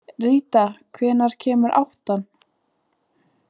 Ríta, hvenær kemur áttan?